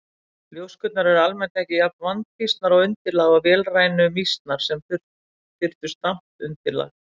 Ljóskurnar eru almennt ekki jafn vandfýsnar á undirlag og vélrænu mýsnar sem þurftu stamt undirlag.